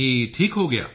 ਕੀ ਠੀਕ ਹੋ ਗਿਆ